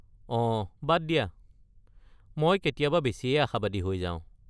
অঁ, বাদ দিয়া! মই কেতিয়াবা বেছিয়েই আশাবাদী হৈ যাওঁ।